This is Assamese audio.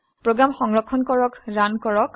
প্ৰোগ্ৰাম সংৰক্ষণ কৰক ৰান কৰক